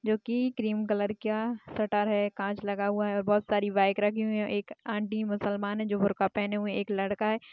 जोकि cream colour का shutter है काँच लगा हुआ है और बोहोत सारी बाइक रखी हुई है और एक आन्टी मुसलमान है जो बुर्खा पहने हुए है एक लड़का हैं।